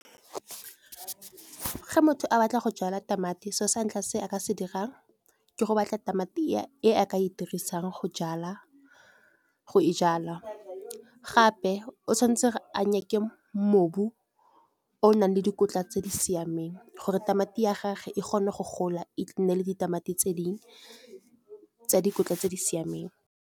Ge motho a batla go jalwa tamati so sa ntlha se nka se dirang ke go batla tamati e a ka e dirisang go e jalwa gape o tshwanetse a nyake mobu o nang le dikotla tse di siameng, gore tamati ya gage e kgone go gola e nne le ditamati tse dingwe tsa dikotla tse di siameng.